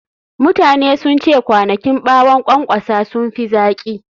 Mutane sun ce kwanakin ɓawon ƙwanƙwasa sun fi zaƙi.